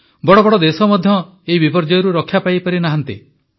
ବଡ଼ବଡ଼ ଦେଶ ମଧ୍ୟ ଏହି ବିପର୍ଯ୍ୟୟରୁ ରକ୍ଷା ପାଇନାହାନ୍ତି